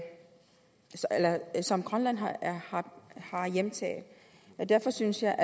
som grønland har hjemtaget derfor synes jeg